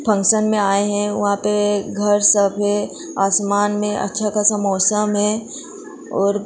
function में आए हैं वहां पे घर सब है आसमान में अच्छा खासा मौसम है और --